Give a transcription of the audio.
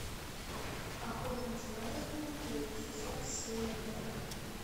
охотник за разумом первый сезон серия два